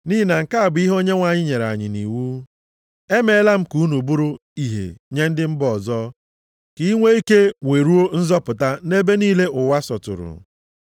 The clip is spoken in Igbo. Nʼihi na nke a bụ ihe Onyenwe anyị nyere anyị nʼiwu, “ ‘Emeela m ka unu bụrụ ìhè nye ndị mba ọzọ, ka ị nwee ike weruo nzọpụta nʼebe niile ụwa sọtụrụ.’ + 13:47 \+xt Aịz 49:6\+xt*”